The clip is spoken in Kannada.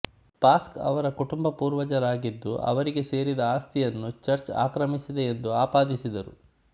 ಪಾಸ್ಕು ಅವರ ಕುಟುಂಬ ಪೂರ್ವಜರಾಗಿದ್ದು ಅವರಿಗೆ ಸೇರಿದ ಆಸ್ತಿಯನ್ನು ಚರ್ಚ್ ಆಕ್ರಮಿಸಿದೆ ಎಂದು ಆಪಾದಿಸಿದರು